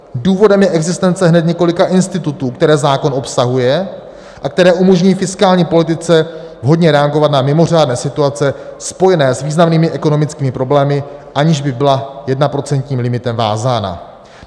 Důvodem je existence hned několika institutů, které zákon obsahuje a které umožňují fiskální politice vhodně reagovat na mimořádné situace spojené s významnými ekonomickými problémy, aniž by byla jednoprocentním limitem vázána.